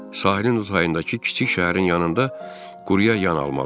Sahilin o tayındakı kiçik şəhərin yanında quruya yan almalıdır.